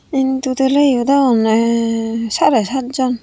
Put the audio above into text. in total a iyot agonne sare saat jon.